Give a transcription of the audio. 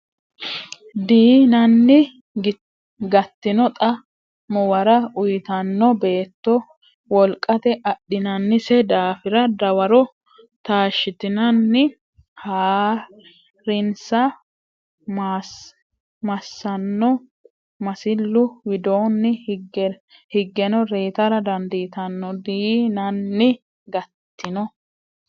Dii nanni Gattino xa muwara uytanno beetto wolqate adhinannise daafira dawaro taashshitanni haa rinsa massanno masillu widoonni higgeno reytara dandiitanno Dii nanni Gattino.